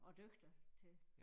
Og dygtig til